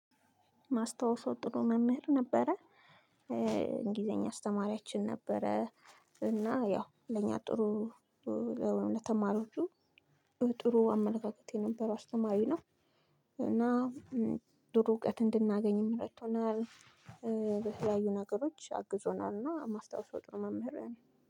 የማስታውሰው ጥሩ መምህር ነበረ። እንግሊዘኛ አስተማሪያችን ነበረ። እና ያው ለኛ ጥሩ ለተማሪዎቹ ጥሩ አመለካከቴት የነበር አስተማሪ ነው። እና ጥሩ እውቀት እንድናገኝ እረድቶናል። የተለያዩ ነገሮች አግዞናልና ማስታውሰው ጥሩ መምህር ነው።